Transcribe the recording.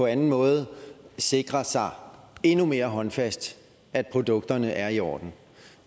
anden måde sikre sig endnu mere håndfast at produkterne er i orden